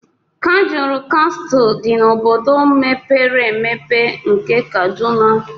Kajuru Castle dị n'obodo mepere emepe nke Kaduna.